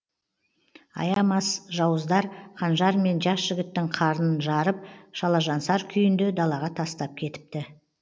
аямас жауыздар қанжармен жас жігіттің қарнын жарып шалажансар күйінде далаға тастап кетіпті